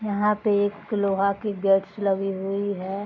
यहाँ पे एक लोहा के गेट्स लगी हुई है।